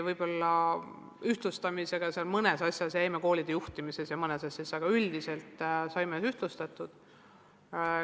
Võib-olla me ühtlustamisega mõnes asjas jäime pooleli, näiteks koolide juhtimises ja mõnes muus asjas, aga üldiselt saime ühtlustatud.